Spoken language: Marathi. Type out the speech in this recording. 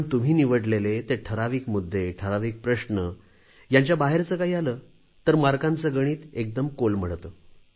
पण तुम्ही निवडलेले ते ठराविक मुद्दे ठराविक प्रश्न यांच्याबाहेरचे काही आले तर गुणांचे गणित एकदम कोलमडते